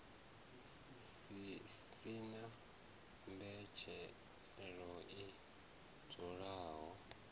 si na mbetshelo i dzulaho